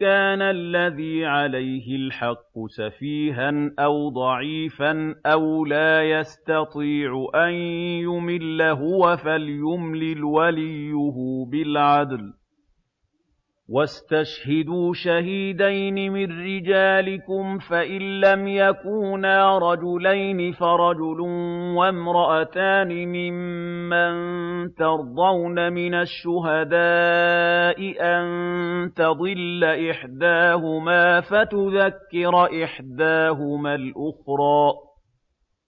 كَانَ الَّذِي عَلَيْهِ الْحَقُّ سَفِيهًا أَوْ ضَعِيفًا أَوْ لَا يَسْتَطِيعُ أَن يُمِلَّ هُوَ فَلْيُمْلِلْ وَلِيُّهُ بِالْعَدْلِ ۚ وَاسْتَشْهِدُوا شَهِيدَيْنِ مِن رِّجَالِكُمْ ۖ فَإِن لَّمْ يَكُونَا رَجُلَيْنِ فَرَجُلٌ وَامْرَأَتَانِ مِمَّن تَرْضَوْنَ مِنَ الشُّهَدَاءِ أَن تَضِلَّ إِحْدَاهُمَا فَتُذَكِّرَ إِحْدَاهُمَا الْأُخْرَىٰ ۚ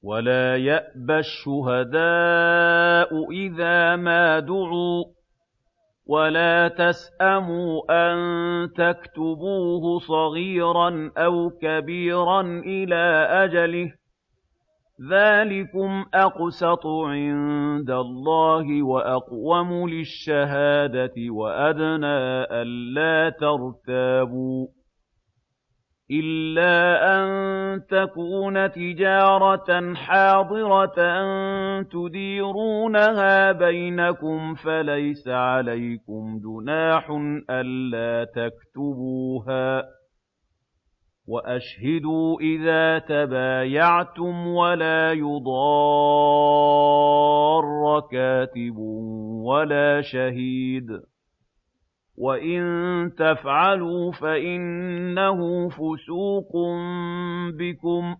وَلَا يَأْبَ الشُّهَدَاءُ إِذَا مَا دُعُوا ۚ وَلَا تَسْأَمُوا أَن تَكْتُبُوهُ صَغِيرًا أَوْ كَبِيرًا إِلَىٰ أَجَلِهِ ۚ ذَٰلِكُمْ أَقْسَطُ عِندَ اللَّهِ وَأَقْوَمُ لِلشَّهَادَةِ وَأَدْنَىٰ أَلَّا تَرْتَابُوا ۖ إِلَّا أَن تَكُونَ تِجَارَةً حَاضِرَةً تُدِيرُونَهَا بَيْنَكُمْ فَلَيْسَ عَلَيْكُمْ جُنَاحٌ أَلَّا تَكْتُبُوهَا ۗ وَأَشْهِدُوا إِذَا تَبَايَعْتُمْ ۚ وَلَا يُضَارَّ كَاتِبٌ وَلَا شَهِيدٌ ۚ وَإِن تَفْعَلُوا فَإِنَّهُ فُسُوقٌ بِكُمْ ۗ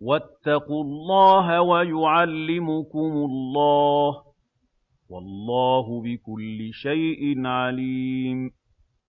وَاتَّقُوا اللَّهَ ۖ وَيُعَلِّمُكُمُ اللَّهُ ۗ وَاللَّهُ بِكُلِّ شَيْءٍ عَلِيمٌ